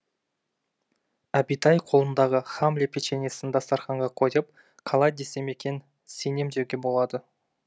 әбитай қолындағы хамле печеньесін дастарханға қойып қалай десем екен сенем деуге болады